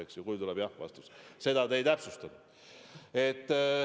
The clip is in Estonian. Varianti, kui tuleb ei-vastus, te ei täpsustanud.